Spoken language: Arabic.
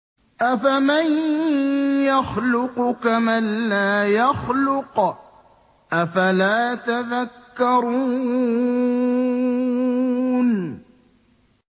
أَفَمَن يَخْلُقُ كَمَن لَّا يَخْلُقُ ۗ أَفَلَا تَذَكَّرُونَ